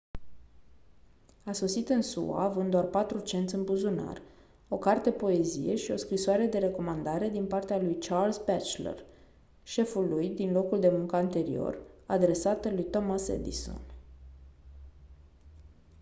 a sosit în sua având doar 4 cenți în buzunar o carte poezie și o scrisoare de recomandare din partea lui charles batchelor șeful lui din locul de muncă anterior adresată lui thomas edison